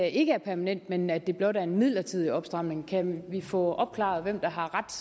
ikke er permanent men at det blot er en midlertidig opstramning kan vi få opklaret hvem der har ret